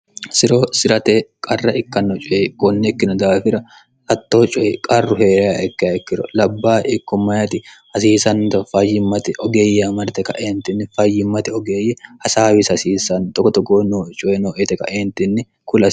siro si'rate qarra ikkanno coye gonnekkino daafira hattoo coyi qarru hee'rea ikka ikkiro labba ikkommyti hasiisannto fayyimmate ogeeyya marite kaeentinni fayyimmate ogeeyye hasaawisi hasiisanni 1ogotogoo noo coye noete kaeentinni kulao